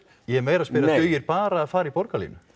ég er að spyrja dugir bara að fara í borgarlínuna